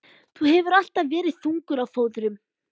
Þú hefur nú alltaf verið þungur á fóðrum.